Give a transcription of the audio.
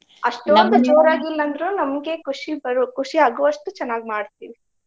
ಇಲ್ಲ ಅಂದ್ರು ನಮ್ಗೆ ಖುಷಿ ಬರು~ ಖುಷಿ ಆಗುವಷ್ಟು ಚೆನ್ನಾಗ್ ಮಾಡ್ತೀವಿ.